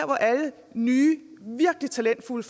hvor alle nye virkelig talentfulde